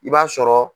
I b'a sɔrɔ